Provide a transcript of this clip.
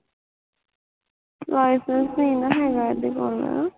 licence ਨੀ ਨਾ ਹੈਗਾ ਇਹਦੇ ਕੋਲ